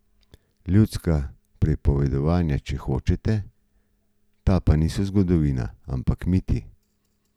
Ljudska pripovedovanja, če hočete, ta pa niso zgodovina, ampak miti.